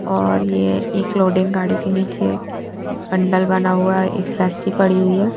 और ये एक लोडिंग गाड़ी के नीचे पंडर बना हुआ है एक रसी पड़ी हुई है।